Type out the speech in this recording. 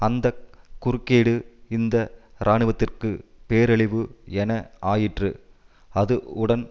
அந்த குறுக்கீடு இந்த இராணுவத்திற்கு பேரழிவு என ஆயிற்று அது உடன்